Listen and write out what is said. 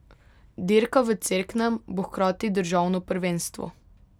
Dirka v Cerknem bo hkrati državno prvenstvo.